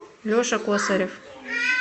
леша косарев